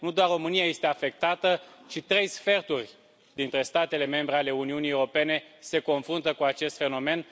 Nu doar România este afectată, ci trei sferturi dintre statele membre ale Uniunii Europene se confruntă cu acest fenomen.